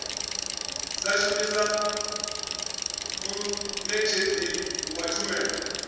sa shumisa muṋetshedzi wa tshumelo